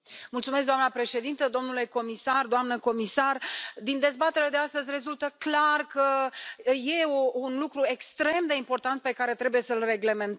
Doamnă președintă, domnule comisar, doamnă comisar, din dezbaterea de astăzi rezultă clar că e un lucru extrem de important pe care trebuie să îl reglementăm.